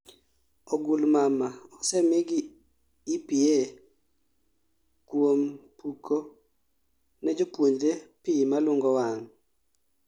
ogul mama osemi gi EPA kuom puko ne jopuonjre pi malungo wang'